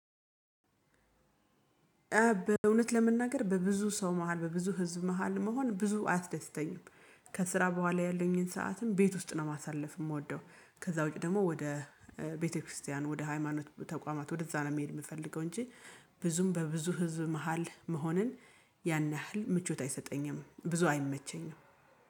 በእውነት ለመናገር በብዙ ሰው መሃል በብዙ ህዝብ መሃል መሆን ብዙ አያስደስተኝም ከስራ በኋላ ያለኝን ሰዓትም ቤት ውስጥ ነው ማሳለፍ የምወደው። ከዛ ውጪ ደግሞ ወደ ቤተክርስቲያን ወደ ሃይማኖት ተቋማት ወደዛ ነው መሄድ የምፈልገው እንጂ ብዙም በብዙ ህዝብ መሃል መሆንን ያን ያህል ምቾት አይሰጠኝም ብዙ አይመቸኝም።